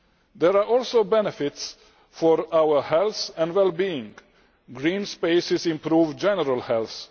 There are also benefits for our health and well being green spaces improve general health